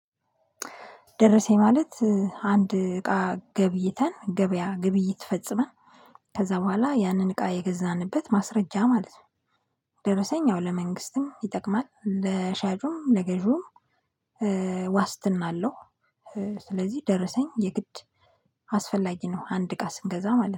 ደረሰኝ ማለት አንድ እቃ ገብይተን ገበያ ግብይት ፈጽመን ከዛ በኋላ ያንን እቃ የገዛንበት ማስረጃ ማለት ነው። ደረሰኝ ለመንግስትም ይጠቅማል ለሻጩም ለገዢውም ዋስትና አለው ስለዚህ ደረሰኝ የግድ አስፈላጊ ነው አንድ እቃ ስንገዛ ማለት ነው።